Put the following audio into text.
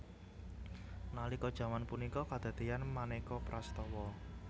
Nalika jaman punika kadadéan manéka prastawa